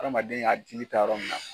Adamaden ŋa dili taa yɔrɔ min na